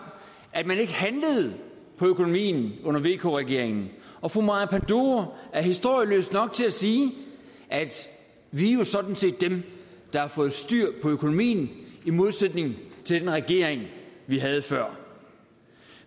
at man ikke handlede på økonomien under vk regeringen og fru maja panduro er historieløs nok til at sige vi er jo sådan set dem der har fået styr på økonomien i modsætning til den regering vi havde før